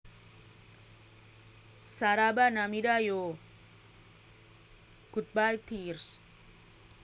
Saraba Namida Yo / Goodbye Tears